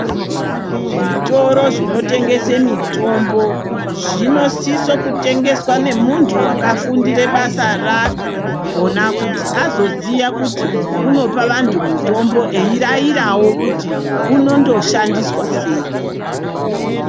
Zvitoro zvinotengese mitombo zvinosise kutengeswa nemuntu akafundire basa rakhona kuti azoziye kuti unopa antu mutombo eirairawo kuti unondoshandiswa sei.